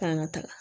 K'an ka taga